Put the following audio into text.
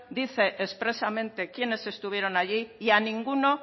dice expresamente quiénes estuvieron allí y a ninguno